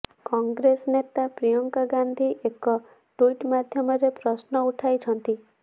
କଂଗ୍ରେସ ନେତା ପ୍ରିୟଙ୍କା ଗାନ୍ଧୀ ଏକ ଟ୍ୱିଟ ମାଧ୍ୟମରେ ପ୍ରଶ୍ନ ଉଠାଇଛନ୍ତି